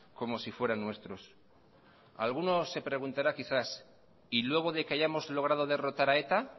como si fueran nuestros alguno se preguntará quizás y luego de que hayamos logrado derrotar a eta